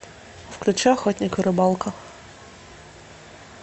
включи охотник и рыбалка